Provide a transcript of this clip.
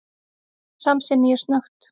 Já, samsinni ég snöggt.